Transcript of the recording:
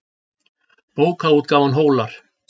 Bókaútgáfan Hólar.